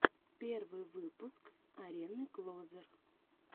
первый выпуск арены клозер